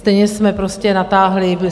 Stejně jsme prostě natáhli.